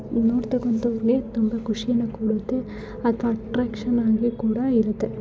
ನೀವ್ ನೋಡತಾಕಾಂತ ಒಂದು ಇಲ್ಲಿ ಖುಷಿನ ಕೊಡುತ್ತೆ ಅಥವಾ ಅಟ್ರಾಕ್ಷನ್ ಆಗಿ ಕೂಡ ಇರತ್ತೆ.